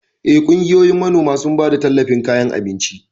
Eh, kungiyoyin manoman sun bada talllafin kayan abinci.